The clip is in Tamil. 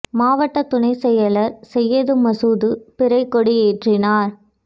மாவட்ட துணைச் செயலா் செய்யது மசூது பிறைக் கொடி ஏற்றினாா்